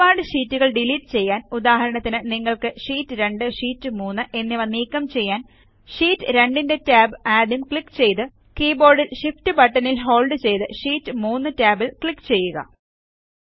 ഒരുപാട് ഷീറ്റുകൾ ഡിലീറ്റ് ചെയ്യാൻ ഉദാഹരണത്തിന് നിങ്ങൾക്ക് ഷീറ്റ് 2ഷീറ്റ് 3 എന്നിവ നീക്കം ചെയ്യാൻ ഷീറ്റ് 2 ന്റെ ടാബ് ആദ്യം ക്ലിക്ക് ചെയ്ത് കീബോർഡിൽ Shift ബട്ടണിൽ ഹോൾഡ് ചെയ്ത് ഷീറ്റ് 3 ടാബ് ക്ലിക്ക് ചെയ്യുക